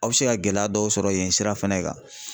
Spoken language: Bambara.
Aw be se ka gɛlɛya dɔw sɔrɔ yen sira fɛnɛ kan